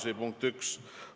See on punkt 1.